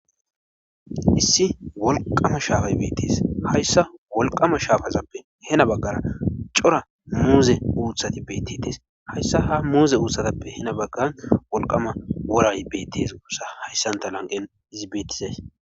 issi wolqama shaafay bettes. hayssa wolqama shaafazappe hena baggara cora muuze uuthati bettees. hayssa ha muuze uutsatappe hena baggan wolqama woray bettes gussa hayssanta lanqen izi beettizas.